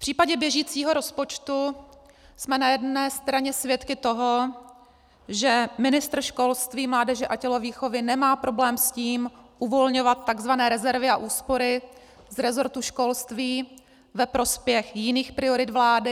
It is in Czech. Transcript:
V případě běžícího rozpočtu jsme na jedné straně svědky toho, že ministr školství, mládeže a tělovýchovy nemá problém s tím uvolňovat tzv. rezervy a úspory v resortu školství ve prospěch jiných priorit vlády.